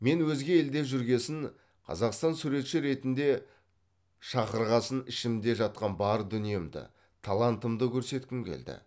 мен өзге елде жүргесін қазақстан суретші ретінде шақырғасын ішімде жатқан бар дүниемді талантымды көрсеткім келді